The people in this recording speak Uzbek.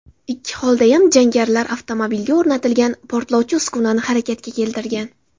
Ikki holdayam jangarilar avtomobilga o‘rnatilgan portlovchi uskunani harakatga keltirgan.